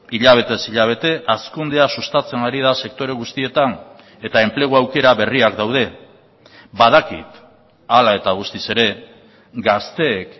hilabetez hilabete hazkundea sustatzen ari da sektore guztietan eta enplegu aukera berriak daude badakit hala eta guztiz ere gazteek